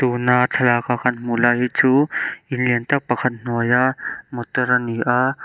tuna thlalak a kan hmuh lai hi chu in liantak pakhat hnuaia motor ani a.